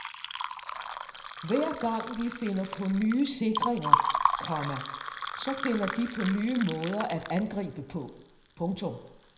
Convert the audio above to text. Hver gang vi finder på nye sikringer, komma så finder de på nye måder at angribe på. punktum